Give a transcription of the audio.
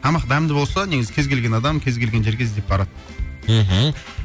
тамақ дәмді болса негізі кез келген адам кез келген жерге іздеп барады мхм